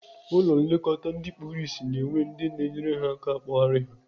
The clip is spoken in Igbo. Ụlọ nlekọta ndị kpuru ịsị na-enwe ndị na-enyere ha aka akpọgharị ha.